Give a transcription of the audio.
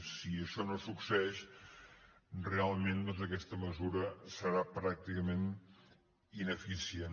si això no succeeix realment doncs aquesta mesura serà pràcticament ineficient